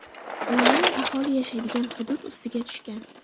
Layner aholi yashaydigan hudud ustiga tushgan.